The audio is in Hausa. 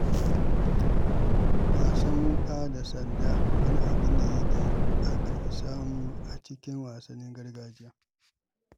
Wasan wuka da sanda wani abu ne da aka fi samu a cikin wasannin gargajiya.